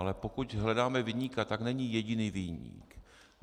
Ale pokud hledáme viníka, tak není jediný viník.